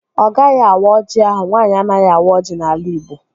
Ọ gaghị awa ọjị ahụ. Nwaanyị anaghị awa ọjị n'ala igbo